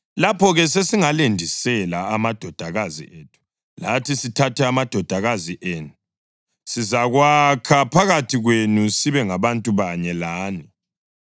Lapho-ke sesingalendisela amadodakazi ethu lathi sithathe amadodakazi enu. Sizakwakha phakathi kwenu sibe ngabantu banye lani.